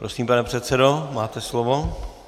Prosím, pane předsedo, máte slovo.